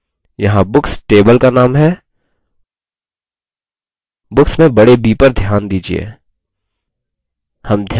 यहाँ books table का name है books में बड़े b पर ध्यान दीजिये